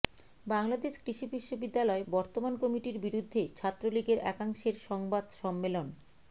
বাংলাদেশ কৃষি বিশ্ববিদ্যালয় বর্তমান কমিটির বিরুদ্ধে ছাত্রলীগের একাংশের সংবাদ সম্মেলন